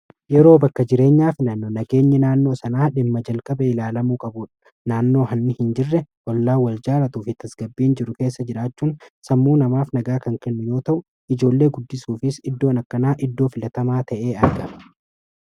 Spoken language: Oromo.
yeroo bakka jireenyaa fi naanno nageenyi naannoo sanaa dhimma jalqaba ilaalamuu qabu naannoo hanni hin jirre ollaa wal jaalatuu fi tasgabbiin jiru keessa jiraachuun sammuu namaaf nagaa kan kilminoo ta'u ijoollee guddisuufis iddoon akkanaa iddoo filatamaa ta'ee arga